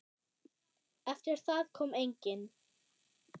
Eftir það kom enginn.